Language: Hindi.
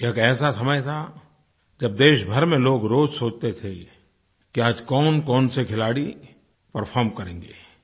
ये एक ऐसा समय था जब देश भर में लोग रोज़ सोचते थे कि आज कौनकौन से खिलाड़ी परफॉर्म करेंगे